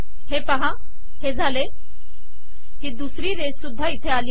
हे पहा झाले ही दुसरी रेषसुद्धा इथे आली